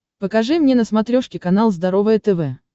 покажи мне на смотрешке канал здоровое тв